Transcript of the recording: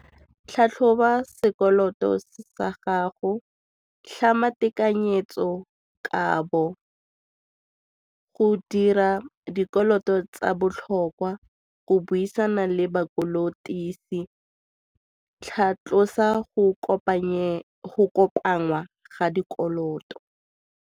Tlhatlhoba sekoloto sa gago, tlhama tekanyetsokabo go dira dikoloto tsa botlhokwa go buisana le ba kolotisi, tlhatlosa go kopangwa ga dikoloto.